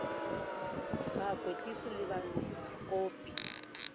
be a kwetlise le bakopi